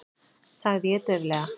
sagði ég dauflega.